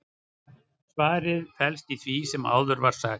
svarið felst í því sem áður var sagt